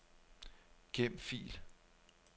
Gem fil.